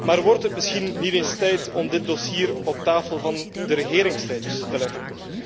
Maar wordt het misschien niet eens tijd om dit dossier op tafel van de regeringsleiders te leggen?